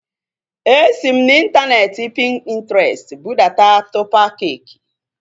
Esi m n'intaneeti Pintrestị budata tọpa keeki